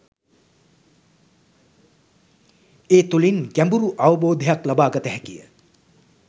ඒ තුළින් ගැඹුරු අවබෝධයක් ලබා ගත හැකිය